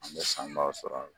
An bɛ sanbaaw sɔrɔ a la.